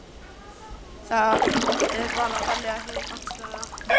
Það er bara að velja hið gagnstæða.